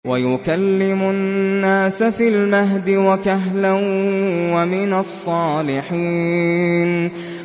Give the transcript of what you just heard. وَيُكَلِّمُ النَّاسَ فِي الْمَهْدِ وَكَهْلًا وَمِنَ الصَّالِحِينَ